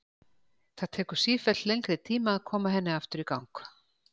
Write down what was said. Það tekur sífellt lengri tíma að koma henni aftur í gang.